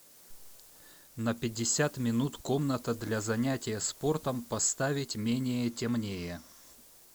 на пятьдесят минут комната для занятия спортом поставить менее темнее